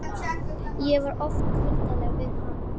Ég var oft kuldaleg við hana.